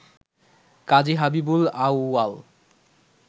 কাজী হাবিবুল আউয়াল